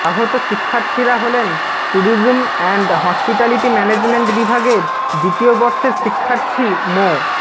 আহত শিক্ষার্থীরা হলেন ট্যুরিজম অ্যান্ড হসপিটালিটি ম্যানেজমেন্ট বিভাগের দ্বিতীয় বর্ষের শিক্ষার্থী মো